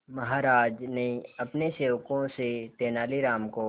महाराज ने अपने सेवकों से तेनालीराम को